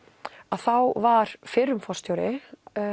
þá var fyrrum forstjóri